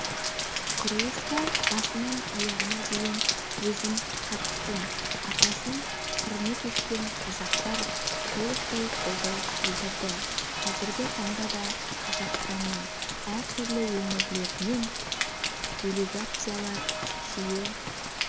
құрылысқа басынан аяғына шейін өзім қатыстым атасын құрмет еткен қазақтар толықтай қолдау білдірді қазіргі таңда да қазақстанның әртүрлі өңірлерінен делегациялар жиі